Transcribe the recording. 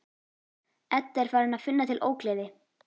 Edda er farin að finna til ógleði.